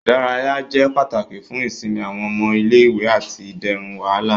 Ìdárayá jẹ pàtàkì fún ìsinmi awọn ọmọ ilé-ìwé ati iderun wàhálà.